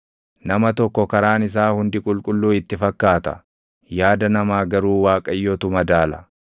Nama tokko karaan isaa hundi qulqulluu itti fakkaata; yaada namaa garuu Waaqayyotu madaala.